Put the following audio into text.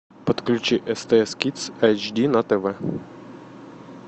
подключи стс кидс айч ди на тв